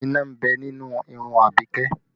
Iná ń bẹ nínú irun Abike